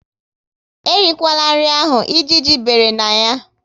E rikwala nri ahụ! Ejiji bere na ya